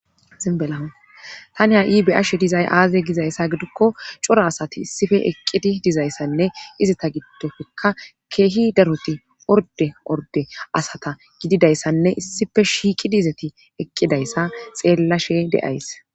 Zanbelaa tani ha ibe'ashe dizay aaze gizayssa gidukko cora asati issife eqqiti dizayssanne izita giddofekka keehi daroti orde orde asata gididayssanne issife shiiqi dizeti eqqidayssa xeellashe de7ays